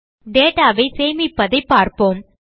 data ஐ சேமிப்பதைப் பார்ப்போம்